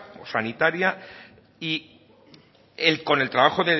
o sanitaria y con el trabajo